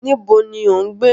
Níbo ni o ń gbé?